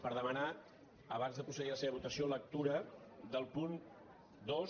per demanar abans de procedir a la seva votació lectura del punt dos